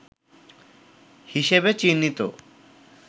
হিসেবে চিহ্নিত